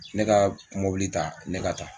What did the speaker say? Ne ka mɔbili ta ne ka taa